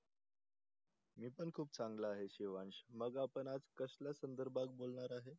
मी पण खुप चांगला आहे शिवांश. मग आपण आज कसल्या संदर्भात बोलणार आहे?